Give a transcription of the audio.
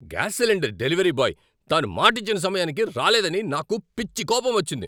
Gas cylinder delivery boy తాను మాటిచ్చిన సమయానికి రాలేదని నాకు పిచ్చి కోపమొచ్చింది.